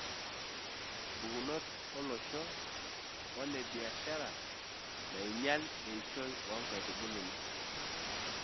Mpukunot o losho o nebiashara naainyial eishoi oo nkaitubulu.